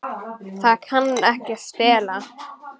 Það kann ekki að stela.